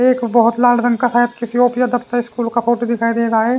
एक बहुत लाल रंग का शायद किसी ओफ्फी या दफ्तर किसी स्कूल का फोटो दिखाई दे रहा है ।